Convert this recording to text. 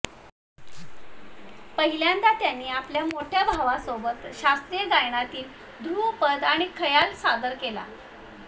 पहिल्यांदा त्यांनी आपल्या मोठ्या भावासोबत शास्त्रीय गायनातील ध्रुपद आणि खयाल सादर केला